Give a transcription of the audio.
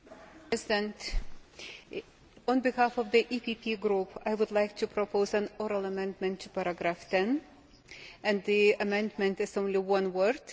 Mr President, on behalf of the EPP Group, I would like to propose an oral amendment to paragraph 10 and the amendment is only one word.